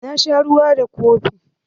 Na sha ruwa da kofi.